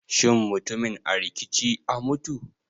Shin mutumin a rikici a mutu?